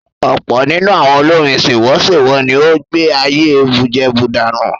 Ọ̀pọ̀ nínú àwọn olórin sèwọ́sèwọ́ ni ó ń gbé ayé bùjẹbùdànù.